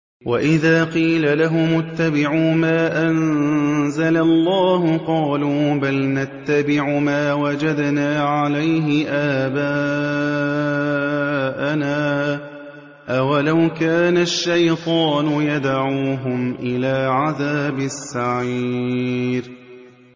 وَإِذَا قِيلَ لَهُمُ اتَّبِعُوا مَا أَنزَلَ اللَّهُ قَالُوا بَلْ نَتَّبِعُ مَا وَجَدْنَا عَلَيْهِ آبَاءَنَا ۚ أَوَلَوْ كَانَ الشَّيْطَانُ يَدْعُوهُمْ إِلَىٰ عَذَابِ السَّعِيرِ